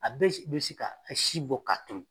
A bɛ bɛ se ka si bɔ ka turu.